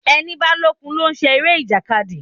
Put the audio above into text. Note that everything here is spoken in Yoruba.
Ẹni bá lókun ló ń ṣe eré ìjàkadì.